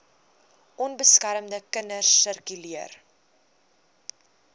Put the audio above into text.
onbeskermde kinders sirkuleer